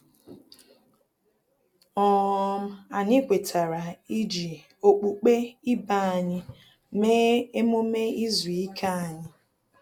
um Anyị kwetara iji okpukpe ibe anyị mee emume izu ike anyi